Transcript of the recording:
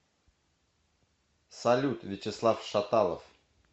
салют вячеслав шаталов